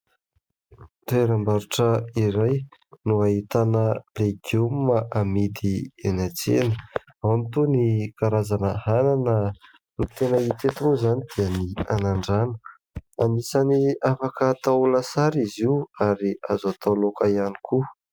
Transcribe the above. Toeram-barotra iray no ahitana legioma amidy eny an-tsena. Ao ny toy ny karazana anana, ny tena hita eto moa izany dia ny anandrano. Anisany afaka atao lasary izy io ary azo atao laoka ihany koa.